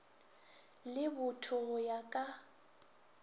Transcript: le botho go ya ka